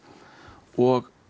og